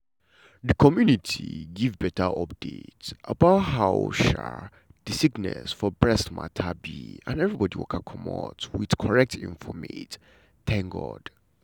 di community give beta update about how um di sickness for breast mata be and everybodi waka comot wit corret infomate. um